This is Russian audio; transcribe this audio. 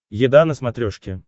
еда на смотрешке